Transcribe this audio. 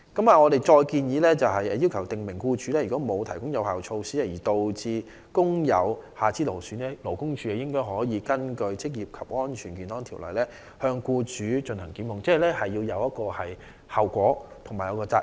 我們建議法例訂明如僱主沒有提供有效措施而導致工友出現下肢勞損，勞工處可根據《職業安全及健康條例》檢控僱主，令僱主須承擔後果和責任。